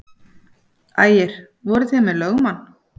Ægir: Voruð þið með lögmann?